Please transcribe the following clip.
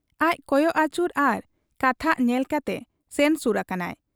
ᱟᱡ ᱠᱚᱭᱚᱜ ᱟᱹᱪᱩᱨ ᱟᱨ ᱠᱟᱛᱷᱟᱜ ᱧᱮᱞ ᱠᱟᱴᱮ ᱥᱮᱱ ᱥᱩᱨ ᱟᱠᱟᱱᱟᱭ ᱾